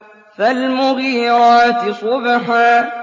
فَالْمُغِيرَاتِ صُبْحًا